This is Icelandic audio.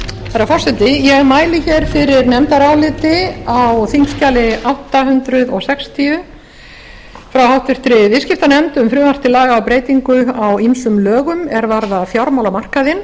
herra forseti ég mæli hér fyrir nefndaráliti á þingskjali átta hundruð sextíu frá háttvirtri viðskiptanefnd um frumvarp til laga um breytingu á ýmsum lögum er varða fjármálamarkaðinn